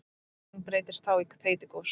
Gosvirknin breytist þá í þeytigos.